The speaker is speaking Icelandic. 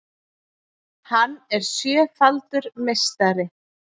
Hann er sjöfaldur meistari